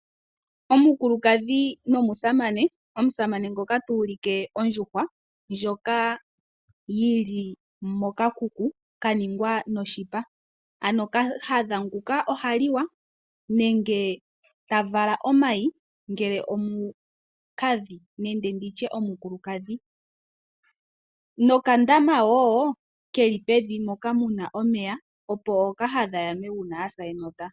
Omukulukadhi nomusamane, omusamane ngoka tu ulike ondjuhwa ndjoka yi li mokakuku ka ningwa noshipa. Kahadha nguka oha liwa nenge ta vala omayi ngele omukiintu nokandama wo ke li pevi moka mu na omeya, opo ookahadha ya nwe uuna ya sa enota.